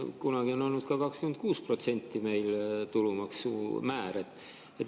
Kunagi on olnud ka 26% meil tulumaksumäär.